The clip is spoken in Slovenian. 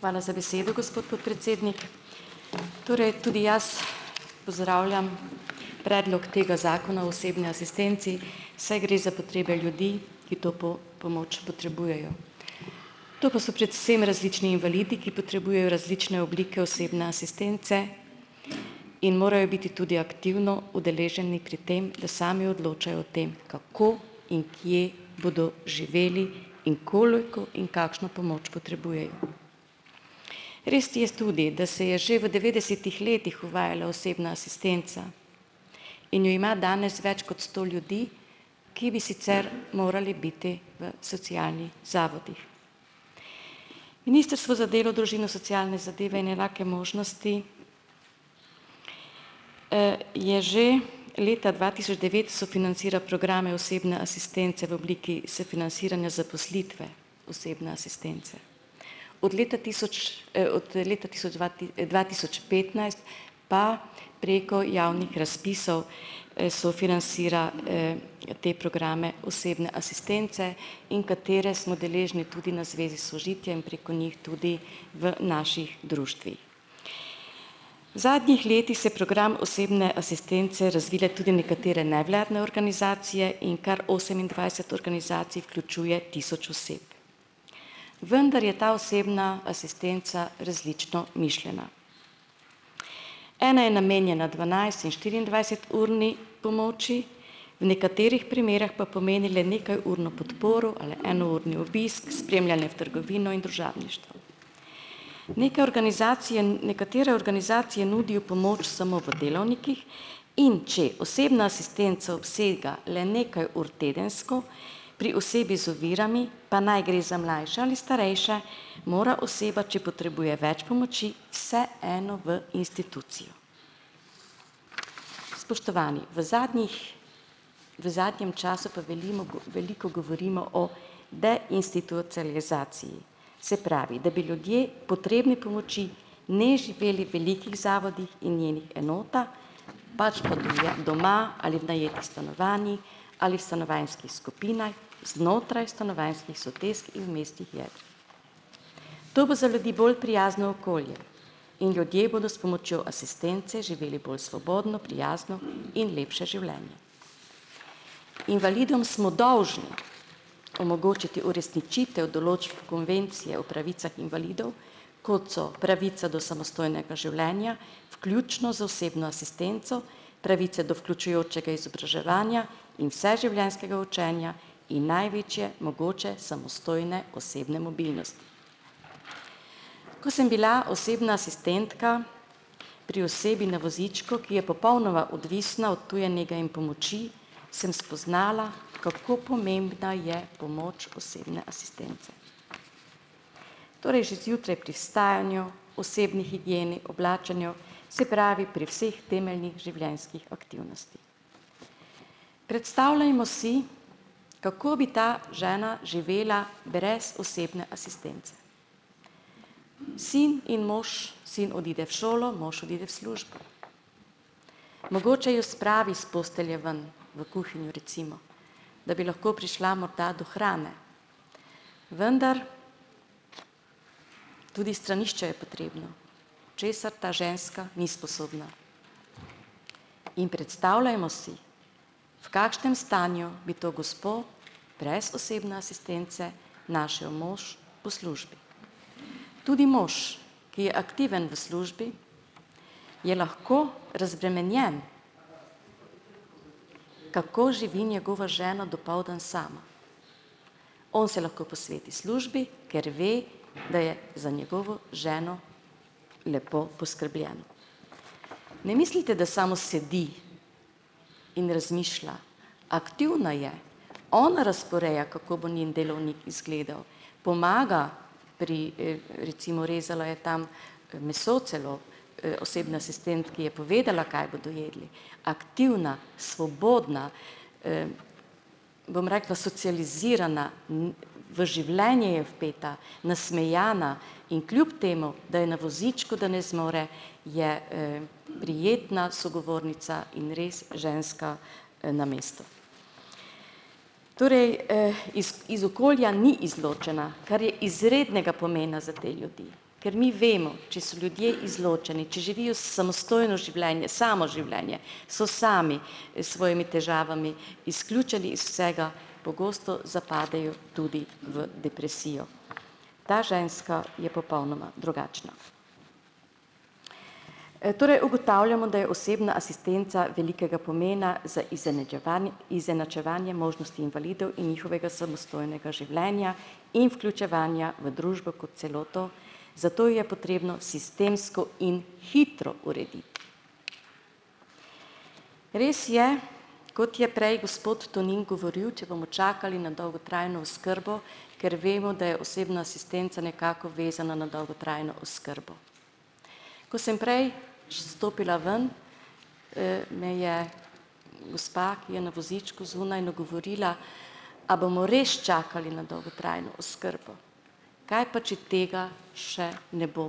Hvala za besedo, gospod podpredsednik. Torej tudi jaz pozdravljam predlog tega zakona o osebni asistenci, saj gre za potrebe ljudi, ki to pomoč potrebujejo. To pa so predvsem različni invalidi, ki potrebujejo različne oblike osebne asistence in morajo biti tudi aktivno udeleženi pri tem, da sami odločajo o tem, kako in kje bodo živeli in koliko in kakšno pomoč potrebujejo. Res je tudi, da se je že v devetdesetih letih uvajala osebna asistenca in jo ima danes več kot sto ljudi, ki bi sicer morali biti v socialnih zavodih. Ministrstvo za delo, družino, socialne zadeve in enake možnosti je že leta dva tisoč devet sofinancira programe osebne asistence v obliki sofinanciranja zaposlitve osebne asistence. Od leta tisoč, od leta dva tisoč petnajst, pa preko javnih razpisov, sofinancira, te programe osebne asistence in katere smo deležni tudi na Zvezi Sožitje, preko njih tudi v naših društvih. V zadnjih letih so program osebne asistence razvile tudi nekatere nevladne organizacije in kar osemindvajset organizacij vključuje tisoč oseb. Vendar je ta osebna asistenca različno mišljena. Ena je namenjena dvanajst- in štiriindvajseturni pomoči, nekaterih primerih pa pomeni le nekajurno podporo ali enourni obisk, trgovino in družabništvo. Neke organizacije nekatere organizacije nudijo pomoč samo v delovnikih, in če osebna asistenca obsega le nekaj ur tedensko pri osebi z ovirami, pa naj gre za mlajše ali starejše, mora oseba, če potrebuje več pomoči, vseeno v institucijo. Spoštovani, v zadnjih, v zadnjem času pa velimo veliko govorimo o se pravi, da bi ljudje, potrebni pomoči, ne živeli v velikih zavodih in njenih enotah, pač pa duje doma ali v najetih stanovanjih ali stanovanjskih skupinah, znotraj stanovanjskih sosesk. To bo za ljudi bolj prijazno okolje in ljudje bodo s pomočjo asistence živeli bolj svobodno, prijazno in lepše življenje. Invalidom smo dolžni omogočiti uresničitev določb Konvencije o pravicah invalidov, kot so pravica do samostojnega življenja, vključno z osebno asistenco, pravice do vključujočega izobraževanja in vseživljenjskega učenja in največje mogoče samostojne osebne mobilnosti. Ko sem bila osebna asistentka pri osebi na vozičku, ki je popolnoma odvisna od tuje nege in pomoči, sem spoznala, kako pomembna je pomoč osebne asistence, torej že zjutraj pri vstajanju, osebni higieni, oblačenju, se pravi, pri vseh temeljnih življenjskih aktivnostih. Predstavljajmo si, kako bi ta žena živela brez osebne asistence. Sin in mož, sin odide v šolo, mož odide v službo, mogoče jo spravi s postelje ven, v kuhinjo, recimo, da bi lahko prišla morda do hrane, vendar tudi stranišče je potrebno, česar ta ženska ni sposobna. In predstavljajmo si, v kakšnem stanju bi to gospo brez osebne asistence našel mož po službi. Tudi mož, ki je aktiven v službi, je lahko razbremenjen, kako živi njegova žena dopoldne sama. On se lahko posveti službi, ker ve, da je za njegovo ženo lepo poskrbljeno. Ne mislite, da samo sedi in razmišlja, aktivna je, ona razporeja, kako bo njen delovnik izgledal. Pomaga, pri, recimo, rezala je tam, meso celo, osebni asistentki je povedala, kaj bodo jedli. Aktivna, svobodna, bom rekla socializirana, v življenje je vpeta, nasmejana, in kljub temu, da je na vozičku, da ne zmore, je, prijetna sogovornica in res ženska, na mestu. Torej, iz iz okolja ni izločena, kar je izrednega pomena za te ljudi. Ker mi vemo, če so ljudje izločeni, če živijo samostojno življenje, samo življenje, so sami, s svojimi težavami, izključeni iz vsega, pogosto zapadejo tudi v depresijo. Ta ženska je popolnoma drugačna. Torej ugotavljamo, da je osebna asistenca velikega pomena za izenačevanje možnosti invalidov in njihovega samostojnega življenja in vključevanja v družbo kot celoto, zato je potrebno sistemsko in hitro urediti. Res je, kot je prej gospod Tonin govoril, če bomo čakali na dolgotrajno oskrbo, ker vemo, da je osebna asistenca nekako vezana na dolgotrajno oskrbo. Ko sem prej če stopila ven, me je, gospa, ki je na vozičku, zunaj nagovorila: "A bomo res čakali na dolgotrajno oskrbo? Kaj pa, če tega še ne bo?